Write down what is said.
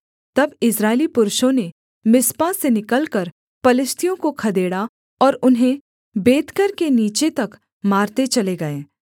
तब इस्राएली पुरुषों ने मिस्पा से निकलकर पलिश्तियों को खदेड़ा और उन्हें बेतकर के नीचे तक मारते चले गए